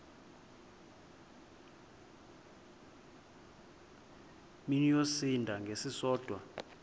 mini yosinda ngesisodwa